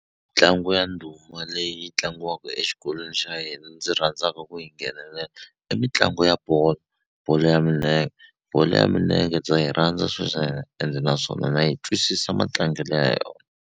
Ntlangu ya ndhuma leyi tlangiwaka exikolweni xa hina ndzi rhandzaka ku yi nghenelela i mitlangu ya bolo bolo ya minenge bolo ya minenge ndza yi rhandza ende naswona na yi twisisa matlangelo ya yona.